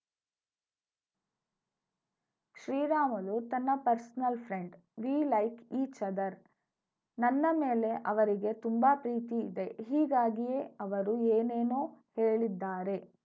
ಶ್ರೀರಾಮುಲು ತನ್ನ personal friend we like each other ನನ್ನ ಮೇಲೆ ಅವರಿಗೆ ತುಂಬಾ ಪ್ರೀತಿ ಇದೆ ಹೀಗಾಗಿಯೇ ಅವರು ಏನೇನೋ ಹೇಳಿದ್ದಾರೆ